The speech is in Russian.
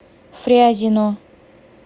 фрязино